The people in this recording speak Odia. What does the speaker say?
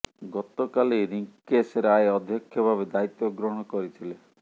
ଗତକାଲି ରିଙ୍କେଶ ରାୟ ଅଧ୍ୟକ୍ଷ ଭାବେ ଦାୟିତ୍ୱ ଗ୍ରହଣ କରିଥିଲେ